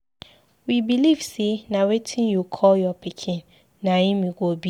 We believe say na wetin yiu call your pikin na im he go be.